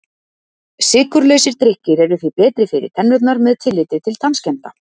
Sykurlausir drykkir eru því betri fyrir tennurnar með tilliti til tannskemmda.